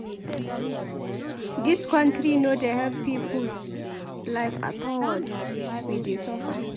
Dis country no dey help people life at all. We dey suffer.